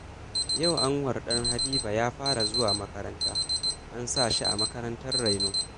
Yau Anwar ɗan Habiba ya fara zuwa makaranta, an sa shi a makarantar raino